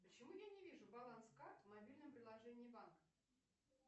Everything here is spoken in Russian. почему я не вижу баланс карт в мобильном приложении банка